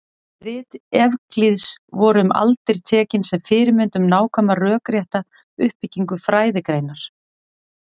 Rit Evklíðs voru um aldir tekin sem fyrirmynd um nákvæma rökrétta uppbyggingu fræðigreinar.